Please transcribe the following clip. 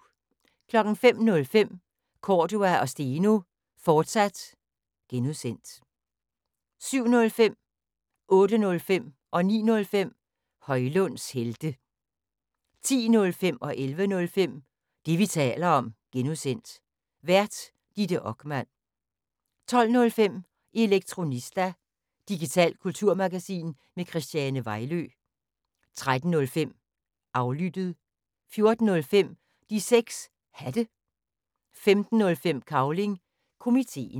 05:05: Cordua & Steno, fortsat (G) 07:05: Højlunds helte 08:05: Højlunds helte 09:05: Højlunds helte 10:05: Det, vi taler om (G) Vært: Ditte Okman 11:05: Det, vi taler om (G) Vært: Ditte Okman 12:05: Elektronista – digitalt kulturmagasin med Christiane Vejlø 13:05: Aflyttet 14:05: De 6 Hatte 15:05: Cavling Komiteen